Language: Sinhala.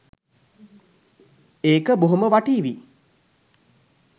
ඒක බොහොම වටීවි.